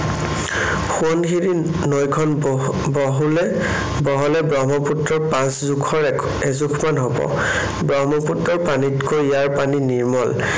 সোৱণশিৰি নৈখন বহু বহুলে, বহলে ব্ৰহ্মপুত্ৰৰ পাঁচজোখৰ এএজোখমান হব। ব্ৰহ্মপুত্ৰৰ পানীতকৈ ইয়াৰ পানী নিৰ্মল।